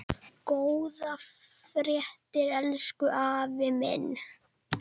Góða ferð, elsku afi minn.